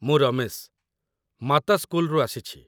ମୁଁ ରମେଶ, ମାତା ସ୍କୁଲରୁ ଆସିଛି ।